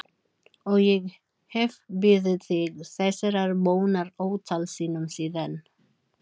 Og ég hef beðið þig þessarar bónar ótal sinnum síðan.